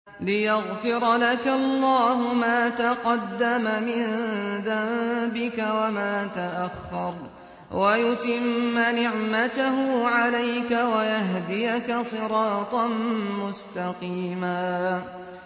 لِّيَغْفِرَ لَكَ اللَّهُ مَا تَقَدَّمَ مِن ذَنبِكَ وَمَا تَأَخَّرَ وَيُتِمَّ نِعْمَتَهُ عَلَيْكَ وَيَهْدِيَكَ صِرَاطًا مُّسْتَقِيمًا